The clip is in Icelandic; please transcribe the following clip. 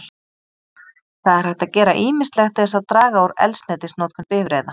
Það er hægt að gera ýmislegt til þess að draga úr eldsneytisnotkun bifreiða.